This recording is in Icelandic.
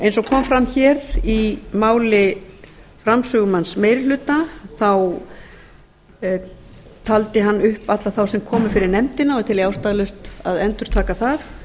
eins og kom fram hér í máli framsögumanns meiri hluta taldi hann upp alla þá sem komu fyrir nefndina og tel ég ástæðulaust að endurtaka það